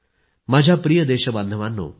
माझ्या प्रिय देशबांधवांनो